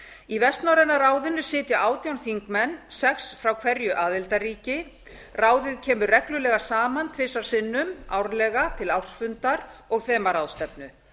í vestnorræna ráðinu sitja átján þingmenn sex frá hverju aðildarríki ráðið kemur reglulega saman tvisvar sinnum árlega til ársfundar og þemaráðstefnu